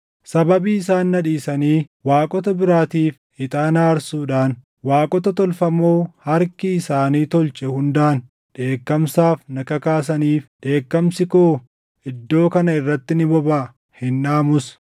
Sababii isaan na dhiisanii waaqota biraatiif ixaana aarsuudhaan waaqota tolfamoo harki isaanii tolche hundaan dheekkamsaaf na kakaasaniif, dheekkamsi koo iddoo kana irratti ni bobaʼa; hin dhaamus.’